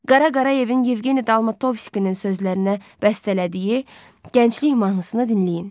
Qara Qarayevin Yevgeni Dalmatovskinin sözlərinə bəstələdiyi Gənclik mahnısını dinləyin.